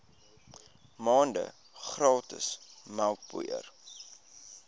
maande gratis melkpoeier